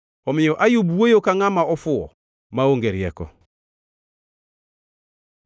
Omiyo Ayub wuoyo ka ngʼama ofuwo; maonge rieko.”